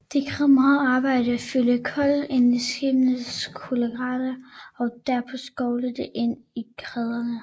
Det krævede meget arbejde at fylde kul ind i skibenes kullagre og derpå skovle det ind i kedlerne